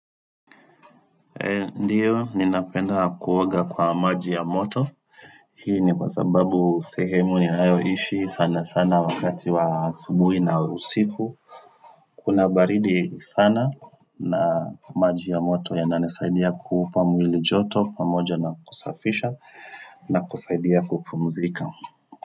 Ndiyo ninapenda kuoga kwa maji ya moto Hii ni kwa sababu sehemu ninayo ishi sana sana wakati wa asubuhi na usiku Kuna baridi sana na maji ya moto yana nisaidia kuupa mwili joto pamoja na kusafisha na kusaidia kupumzika.